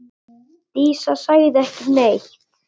Dísa sagði ekki neitt.